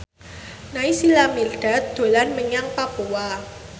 Naysila Mirdad dolan menyang Papua